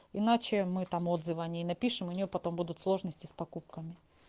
иначе мы там отзывы о ней напишем у нее потом будут сложности с покупками